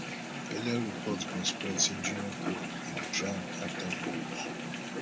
earlier report bin spread say junior pope bin drown afta boat